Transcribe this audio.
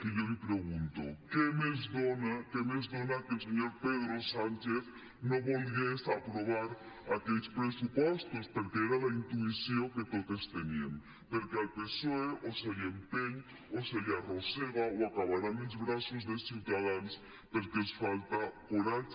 i jo li pregunto què més dona que el senyor pedro sánchez no volgués aprovar aquells pressupostos perquè era la intuïció que totes teníem perquè al psoe o se l’empeny o se l’arrossega o acabarà en els braços de ciutadans perquè els falta coratge